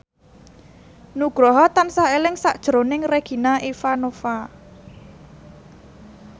Nugroho tansah eling sakjroning Regina Ivanova